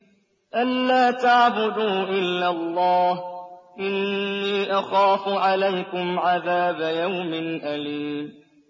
أَن لَّا تَعْبُدُوا إِلَّا اللَّهَ ۖ إِنِّي أَخَافُ عَلَيْكُمْ عَذَابَ يَوْمٍ أَلِيمٍ